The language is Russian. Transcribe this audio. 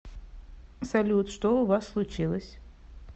салют что у вас случилось